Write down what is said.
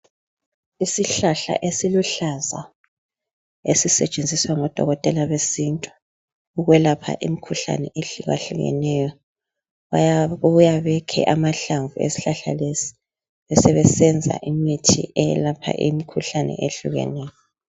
Isihlahla esiluhlaza esisetshenziswa ngodokotela besintu ukwelapha imikhuhlane ehlukahlukeneyo bayabuya bekhe amahlamvu esihlahla lesi besebesenza imithi eyelapha imikhuhlane etshiyeneyo.